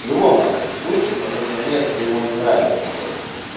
в любом нахуй случае потому что мне это дерьмо не нравится блять